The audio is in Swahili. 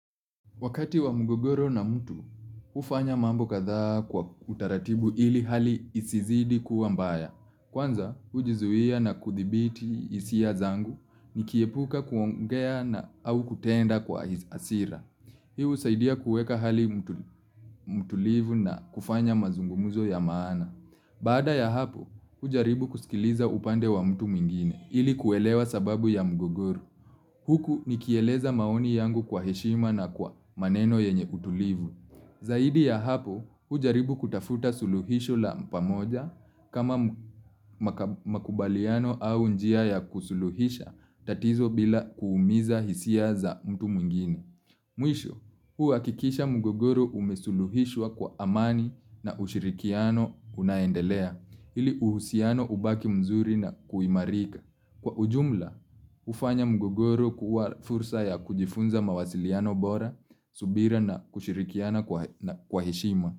Wakati wa mgogoro na mtu, hufanya mambo kadhaaa kwa utaratibu ili hali isizidi kuwa mbaya. Kwanza, hujizuia na kuthibiti hisia zangu nikiepuka kuongea na au kutenda kwa hasira. Hii husaidia kueka hali mtulivu na kufanya mazungumzo ya maana. Baada ya hapo, hujaribu kusikiliza upande wa mtu mwingine ili kuelewa sababu ya mgogoro. Huku nikieleza maoni yangu kwa heshima na kwa maneno yenye utulivu. Zaidi ya hapo, hujaribu kutafuta suluhisho la pamoja kama makubaliano au njia ya kusuluhisha tatizo bila kuumiza hisia za mtu mwingine. Mwisho, huhakikisha mgogoro umesuluhishwa kwa amani na ushirikiano unaendelea. Hili uhusiano ubaki mzuri na kuimarika. Kwa ujumla, hufanya mgogoro kuwa fursa ya kujifunza mawasiliano bora, subira na kushirikiana kwa heshima.